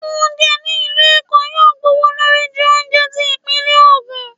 oúnjẹ ni ilú Èko yóò gbówólorí ju oúnjẹ tí ipinle ogun